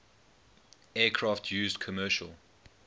aircraft used commercial